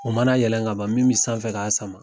O mana yɛlɛn ka ban min bɛ sanfɛ k'a sama